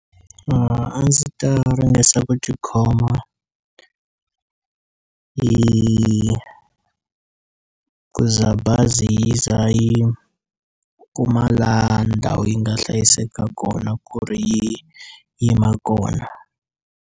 A ndzi ta ringesa ku tikhoma yi ku za bazi yi za yi kuma la ndhawu yi nga hlayiseka kona ku ri yi yima kona.